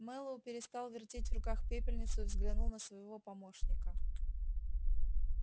мэллоу перестал вертеть в руках пепельницу и взглянул на своего помощника